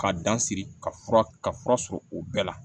K'a dan siri ka fura ka fura sɔrɔ o bɛɛ la